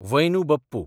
Vainu Bappu